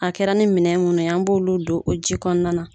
A kɛra ni minɛ munnu ye an b'olu don o ji kɔnɔna na.